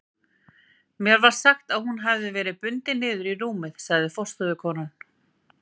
Mér var sagt að hún hefði verið bundin niður í rúmið, sagði forstöðukonan.